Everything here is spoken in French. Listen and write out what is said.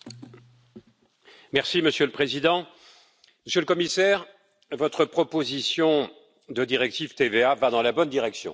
Monsieur le Président, Monsieur le Commissaire, votre proposition de directive TVA va dans la bonne direction pour au moins deux motifs.